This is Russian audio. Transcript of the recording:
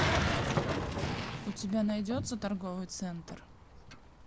у тебя найдется торговый центр